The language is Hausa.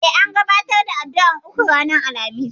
E, an gabatar da addu'ar uku ranar Alhamis.